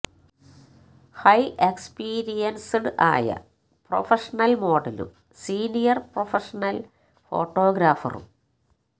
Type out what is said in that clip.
high experienced ആയ professional മോഡലും senior professional ഫോട്ടോഗ്രാഫറും